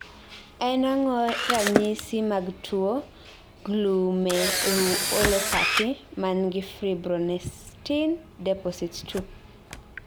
En ang'o ranyisis mg tuo Glomeruulopathy mangi fibronectin deposits 2?